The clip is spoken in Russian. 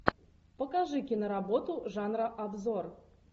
покажи киноработу жанра обзор